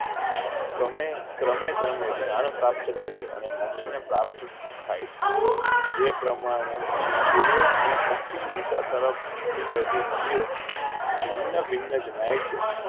કમેં ક્ર્રહે ક્ર્રહે જ્ઞાંગ પ્રાપ્ત કરી અને મોક્ષ ને પ્રાપ્ત કરી થાઈ છે જે પ્રમાણે પૂર્વ અને પશ્ચિમ દિશા તરફ વહેતી નદી ઓ ભિન્ન ભિન્ન જણાય છે.